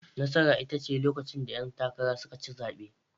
Nasara ita ce lokacin da 'yan takara suka ci zabe.